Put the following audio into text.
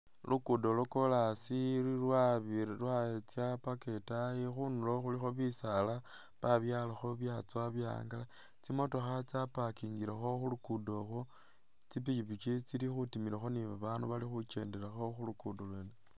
Lugudo lwo kolasi lwatsa paka itaayi khundulo khulikho bisaala babyalakho byatsowa byahangala tsimotokha tsaparkhingilekho khulugudo kho tsipikipiki tsili khutimilakho ni babandu bali khukyendelakho khulukudo lwene.